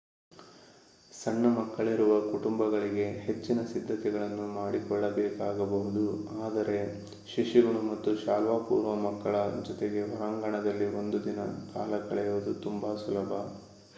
ಸಣ್ಣ ಮಕ್ಕಳಿರುವ ಕುಟುಂಬಗಳಿಗೆ ಹೆಚ್ಚಿನ ಸಿದ್ಧತೆಗಳನ್ನು ಮಾಡಿಕೊಳ್ಳಬೇಕಾಗಬಹುದು ಆದರೆ ಶಿಶುಗಳು ಮತ್ತು ಶಾಲಾಪೂರ್ವ ಮಕ್ಕಳ ಜೊತೆಗೆ ಹೊರಾಂಗಣದಲ್ಲಿ ಒಂದು ದಿನ ಕಾಲ ಕಳೆಯುವುದು ತುಂಬಾ ಸುಲಭ